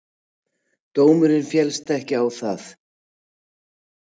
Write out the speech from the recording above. Dómurinn féllst ekki á það.